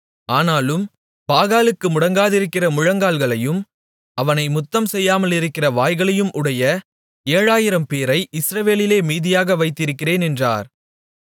ஆனாலும் பாகாலுக்கு முடங்காதிருக்கிற முழங்கால்களையும் அவனை முத்தம்செய்யாமலிருக்கிற வாய்களையும் உடைய ஏழாயிரம்பேரை இஸ்ரவேலிலே மீதியாக வைத்திருக்கிறேன் என்றார்